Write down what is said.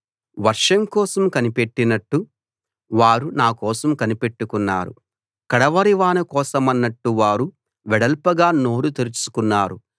వర్షం కోసం కనిపెట్టినట్టు వారు నా కోసం కనిపెట్టుకున్నారు కడవరి వాన కోసమన్నట్టు వారు వెడల్పుగా నోరు తెరుచుకున్నారు